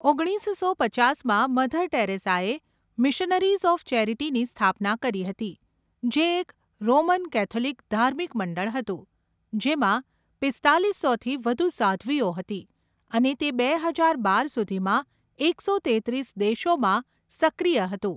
ઓગણીસસો પચાસમાં, મધર ટેરેસાએ મિશનરીઝ ઑફ ચેરિટીની સ્થાપના કરી હતી, જે એક રોમન કેથોલિક ધાર્મિક મંડળ હતું, જેમાં પીસ્તાલીસોથી વધુ સાધ્વીઓ હતી અને તે બે હજાર બાર સુધીમાં એકસો તેત્રીસ દેશોમાં સક્રિય હતું.